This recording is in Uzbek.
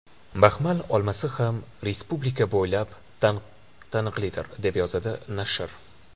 Baxmal olmasi ham respublika bo‘ylab taniqlidir”, deb yozadi nashr.